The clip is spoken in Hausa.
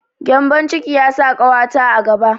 Gembon ciki ya sa ƙawata a gaba.